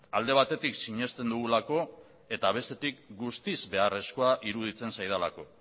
alde batetik sinesten dugulako eta bestetik guztiz beharrezkoa iruditzen zaidalako